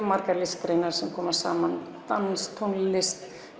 margar listgreinar sem koma saman dans tónlist